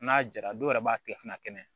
N'a jara dɔw yɛrɛ b'a tile fila kɛnɛ